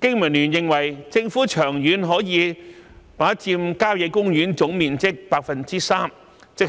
經民聯認為，政府長遠可以把郊野公園總面積的 3%， 即